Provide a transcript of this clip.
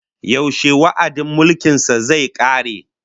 Yaushe wa'adin mulkin sa zai kare?